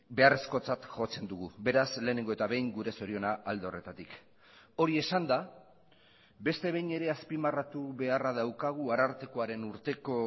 beharrezkotzat jotzen dugu beraz lehenengo eta behin gure zoriona alde horretatik hori esanda beste behin ere azpimarratu beharra daukagu arartekoaren urteko